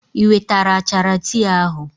I wetara achara tii ahụ?